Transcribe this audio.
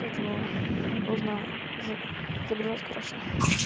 поэтому нужно загружать хорошо